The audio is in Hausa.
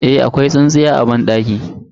Eh, akwai tsintsiya a banɗakin.